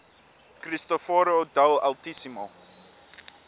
cristoforo del altissimo